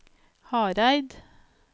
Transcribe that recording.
Hareid